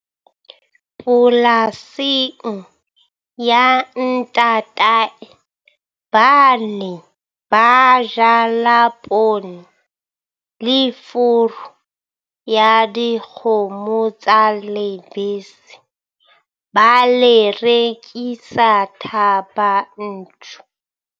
Polasing ya ntatae ba ne ba jala poone le furu ya dikgomo tsa lebese, ba le rekisa Thaba Nchu.